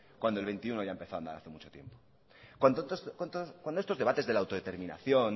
cuando el veintiuno ya empezó a andar hace mucho tiempo cuando estos debates de la autodeterminación